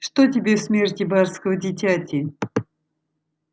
что тебе в смерти барского дитяти